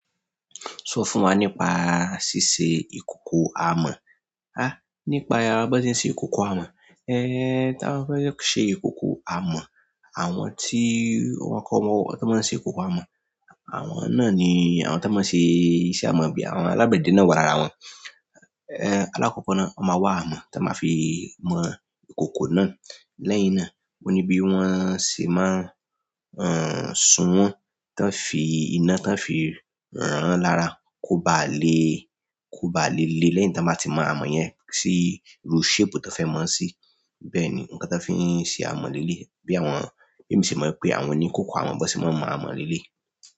Sọ fún wa nípa ṣíṣe ìkòkò amọ̀. Há! Nípa bí wọ́n ṣe ń ṣe ìkòkò amọ̀. Eh, tí wọ́n bá fẹ́ ṣe ìkòkò amọ̀, àwọn tí wọ́n kọ́ bọ́, tí wọ́n máa ń ṣe ìkòkò amọ̀. Àwọn náà ni àwọn tí wọ́n máa n ṣe iṣẹ́ amọ̀ àbí àwọn alágbẹ̀dẹ náà wà lára wọn. Eh, alákọ́kọ́ ná wọ́n máa wá amọ̀ tí wọ́n máa fi mọ kòkò náà. Lẹ́yìn náà, ó ní bí wọ́n ṣe máa n, sun wọ́n tí wọ́n ó fi iná tí wọ́n ó fi ràn-án lára kó baà le, kó baà le le lẹ́yìn tí wọ́n bá ti mọ amọ̀ yẹn sí irú shape tí wọ́n fẹ́ mọ ọ́ sí. Bẹ́ẹ̀ni nǹkan tí wọ́n fi ń ṣe amọ̀ leléyìí. Bí àwọn, bí èmi ṣe mọ̀ pé àwọn oníkòkò àwọn bí wọ́n ṣe máa ń mọ amọ̀ leléyìí.